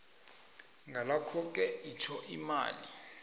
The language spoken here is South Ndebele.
ngalokhoke itjho imali